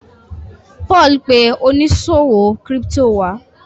Paul pe oniṣòwo crypto wá.